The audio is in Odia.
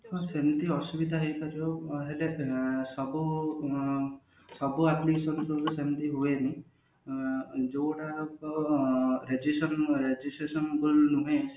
ହଁ ସେମତି ଅସୁବିଧା ହେଇ ପାରିବ ସବୁ ଉଁ ସବୁ application ରେ ତ ସେମିତି ହୁଏନି ଯୋଉଟା ରେଜିସନ registration